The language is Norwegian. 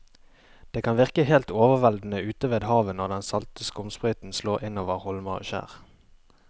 Det kan virke helt overveldende ute ved havet når den salte skumsprøyten slår innover holmer og skjær.